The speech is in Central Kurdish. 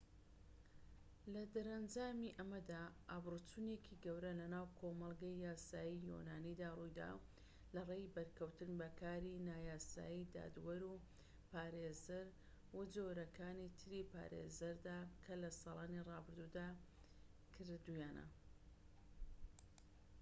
لەدەرەنجامی ئەمەدا ئابروچوونێکی گەورە لەناو کۆمەڵگەی یاسایی یۆنانیدا ڕوویدا لەڕێی بەرکەوتن بە کاری نایاسایی دادوەر و پارێزەر و جۆرەکانی تری پارێزەردا کە لە ساڵانی رابردوودا کردوویانە